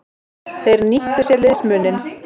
Þeir nýttu sér liðsmuninn.